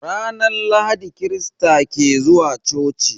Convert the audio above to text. Ranar Lahadi krista ke zuwa coci.